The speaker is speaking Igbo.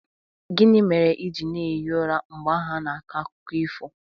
Gịnị mere ị ji na-ehi ụra mgbe ahụ a na-akọ akụkọ ifo